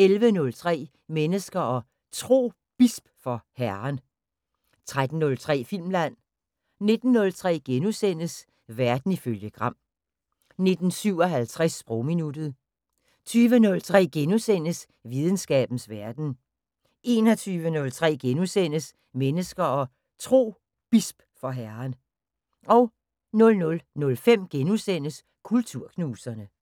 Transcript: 11:03: Mennesker og Tro: Bisp for Herren 13:03: Filmland 19:03: Verden ifølge Gram * 19:57: Sprogminuttet 20:03: Videnskabens Verden * 21:03: Mennesker og Tro: Bisp for Herren * 00:05: Kulturknuserne *